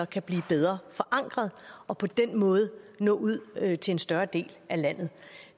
kan blive bedre forankret og på den måde nå ud til en større del af landet